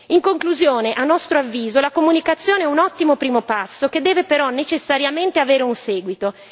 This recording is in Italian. In conclusione, a nostro avviso la comunicazione è un ottimo primo passo, che deve però necessariamente avere un seguito.